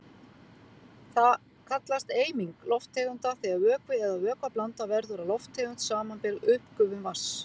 Það kallast eiming lofttegunda þegar vökvi eða vökvablanda verður að lofttegund, samanber uppgufun vatns.